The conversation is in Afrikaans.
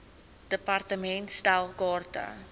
department stel kaarte